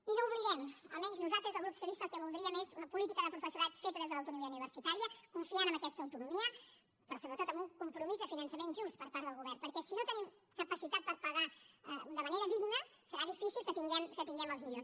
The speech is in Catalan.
i no ho oblidem almenys nosaltres des del grup socialista el que voldríem és una política de professorat feta des de l’autonomia universitària confiant en aquesta autonomia però sobretot en un compromís de finançament just per part del govern perquè si no tenim capacitat per pagar de manera digna serà difícil que tinguem els millors